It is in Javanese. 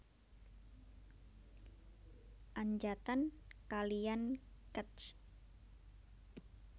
Anjatan kalian Kec